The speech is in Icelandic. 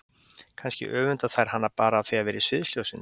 Kannski öfunda þær hana bara af því að vera í sviðsljósinu.